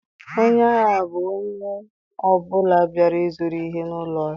Onye ahịa bụ onye ọ bụla bịara ịzụrụ ihe n'ụlọ ahịa.